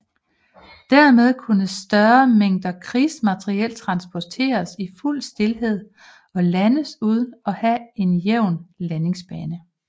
Dermed kunne større mængder krigsmateriel transporteres i fuld stilhed og landes uden at have en jævn landingsbane